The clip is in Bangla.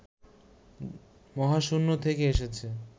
মহাশূন্য থেকে এসেছে